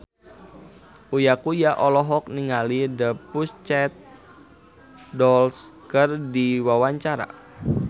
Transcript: Uya Kuya olohok ningali The Pussycat Dolls keur diwawancara